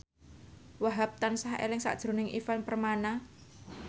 Wahhab tansah eling sakjroning Ivan Permana